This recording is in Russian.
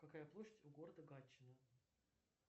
какая площадь у города гатчина